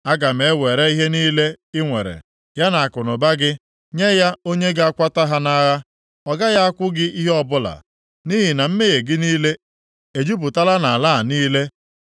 “Aga m ewere ihe niile i nwere, ya na akụnụba gị, nye ya onye ga-akwata ha nʼagha. Ọ gaghị akwụ gị ihe ọbụla. Nʼihi na mmehie gị niile ejupụtala nʼala a niile.